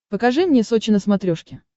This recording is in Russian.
покажи мне сочи на смотрешке